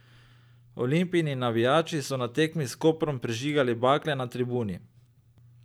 Olimpijini navijači so na tekmi s Koprom prižigali bakle na tribuni.